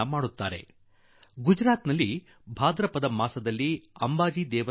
ನನಗೆ ನೆನಪಿದೆ ನಾನು ಗುಜರಾತಿನ ಮುಖ್ಯಮಂತ್ರಿಯಾಗಿದ್ದಾಗ ಅಲ್ಲಿಯ ಅಂಬಾಜೀ ಮಂದಿರದಲ್ಲಿ